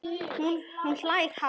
Og hún hlær hátt.